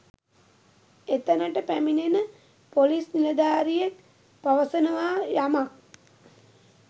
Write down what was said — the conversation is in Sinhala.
එතනට පැමිණෙන පොලිස් නිලධාරියෙක් පවසනවා යමක්